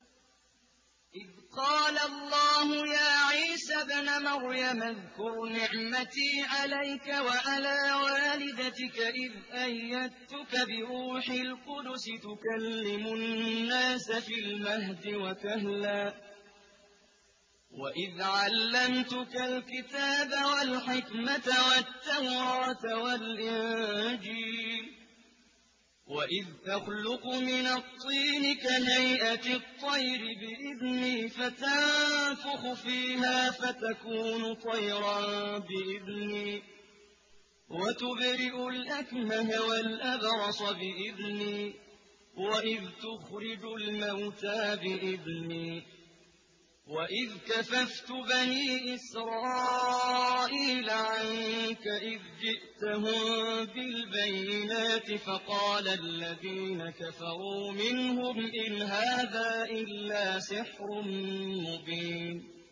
إِذْ قَالَ اللَّهُ يَا عِيسَى ابْنَ مَرْيَمَ اذْكُرْ نِعْمَتِي عَلَيْكَ وَعَلَىٰ وَالِدَتِكَ إِذْ أَيَّدتُّكَ بِرُوحِ الْقُدُسِ تُكَلِّمُ النَّاسَ فِي الْمَهْدِ وَكَهْلًا ۖ وَإِذْ عَلَّمْتُكَ الْكِتَابَ وَالْحِكْمَةَ وَالتَّوْرَاةَ وَالْإِنجِيلَ ۖ وَإِذْ تَخْلُقُ مِنَ الطِّينِ كَهَيْئَةِ الطَّيْرِ بِإِذْنِي فَتَنفُخُ فِيهَا فَتَكُونُ طَيْرًا بِإِذْنِي ۖ وَتُبْرِئُ الْأَكْمَهَ وَالْأَبْرَصَ بِإِذْنِي ۖ وَإِذْ تُخْرِجُ الْمَوْتَىٰ بِإِذْنِي ۖ وَإِذْ كَفَفْتُ بَنِي إِسْرَائِيلَ عَنكَ إِذْ جِئْتَهُم بِالْبَيِّنَاتِ فَقَالَ الَّذِينَ كَفَرُوا مِنْهُمْ إِنْ هَٰذَا إِلَّا سِحْرٌ مُّبِينٌ